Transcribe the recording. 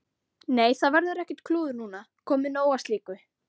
Nei, það verður ekkert klúður núna, komið nóg af slíku.